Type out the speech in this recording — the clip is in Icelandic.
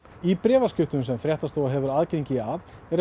í bréfaskriftum sem fréttastofa hefur aðgang að